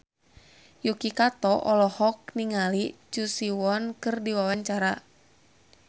Yuki Kato olohok ningali Choi Siwon keur diwawancara